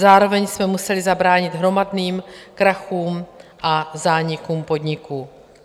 Zároveň jsme museli zabránit hromadným krachům a zánikům podniků.